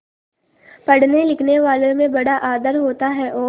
पढ़नेलिखनेवालों में बड़ा आदर होता है और